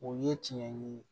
O ye tiɲɛ ye